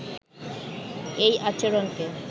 এই আচরণকে